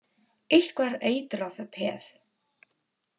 Eitthvað er eitrað peð